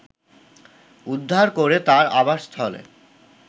উদ্ধার করে তার আবাসস্থলে